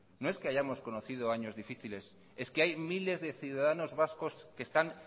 no es que hayamos conocido años difíciles es que hay miles de ciudadanos vascos que están